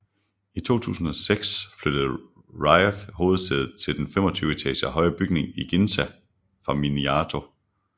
I 2006 flyttede Ricoh hovedsædet til den 25 etager høje bygning i Ginza fra Minato